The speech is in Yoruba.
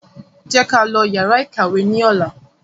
Jẹ́ ká lọ yàrá ìkàwé ní ọ̀la